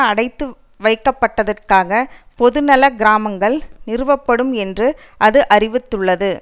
அடைத்து வைக்கப்படுவதற்காக பொதுநல கிராமங்கள் நிறுவப்படும் என்று அது அறிவித்துள்ளது